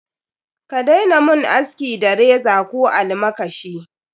Ka daina mun aski da reza ko almakashi.